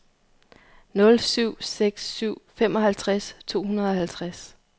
nul syv seks syv femoghalvtreds to hundrede og halvtreds